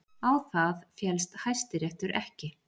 Á það féllst Hæstiréttur ekki